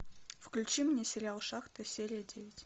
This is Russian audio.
включи мне сериал шахта серия девять